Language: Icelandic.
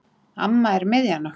Amma er miðjan okkar.